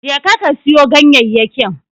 Je ka, ka siyo ganyayyakin.